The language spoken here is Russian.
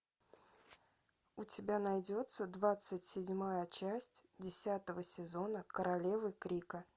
у тебя найдется двадцать седьмая часть десятого сезона королевы крика